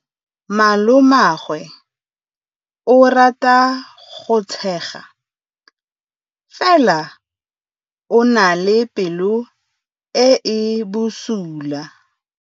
Malomagwe o rata go tshega fela o na le pelo e e bosula.